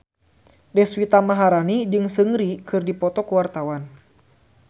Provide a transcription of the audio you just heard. Deswita Maharani jeung Seungri keur dipoto ku wartawan